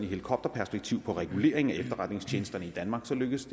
helikopterperspektiv på reguleringen af efterretningstjenesterne i danmark lykkes